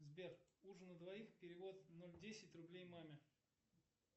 сбер ужин на двоих перевод ноль десять рублей маме